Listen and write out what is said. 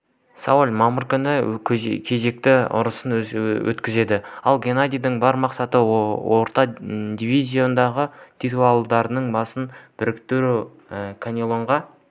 сауль мамыр күні кезекті ұрысын өткізеді ал геннадийдің бар мақсаты орта дивизиондағы титулдарының басын біріктіру канелоға